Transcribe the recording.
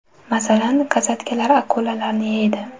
Masalan, kosatkalar akulalarni yeydi.